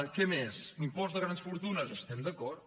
què més impost de grans fortunes hi estem d’acord